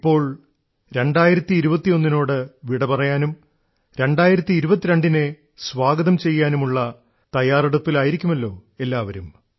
ഇപ്പോൾ 2021 നോട് വിടപറയാനും 2022 നെ സ്വാഗതം ചെയ്യാനുമുള്ള തയ്യാറെടുപ്പിലാണല്ലോ എല്ലാവരും